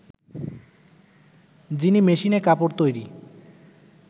যিনি মেশিনে কাপড় তৈরি